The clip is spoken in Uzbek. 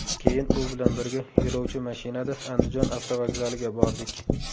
Keyin u bilan birga yo‘lovchi mashinada Andijon avtovokzaliga bordik.